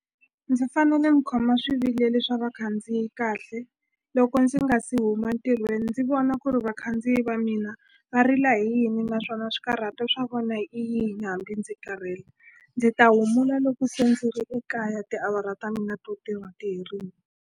Ndzi fanele ni khoma swivilelo swa vakhandziyi kahle loko ndzi nga se huma ntirhweni ndzi vona ku ri vakhandziyi va mina va rila hi yini naswona swikarhato swa vona i yini hambi ndzi karhele ndzi ta humula loko se ndzi ri ekaya tiawara ta mina to tirha ti herile.